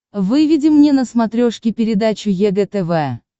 выведи мне на смотрешке передачу егэ тв